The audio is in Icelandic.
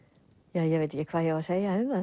ég veit ekki hvað ég á að segja um það